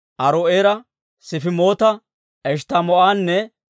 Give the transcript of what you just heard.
Aaro'eera, Sifimoota, Eshttamoo'anne